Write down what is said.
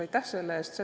Aitäh selle eest!